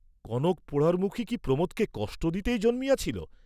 কনক পোড়ারমুখী কি প্রমোদকে কষ্ট দিতেই জন্মিয়াছিল?